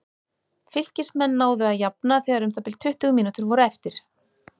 Fylkismenn náðu að jafna þegar um það bil tuttugu mínútur voru eftir.